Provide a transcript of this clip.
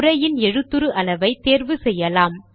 உரையின் எழுதுரு அளவை தேர்வு செய்யலாம்